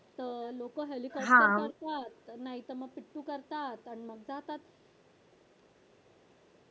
लोक हेलिकॉप्टर करतात नाहीतर मग पिटू करतात आणि मग जातात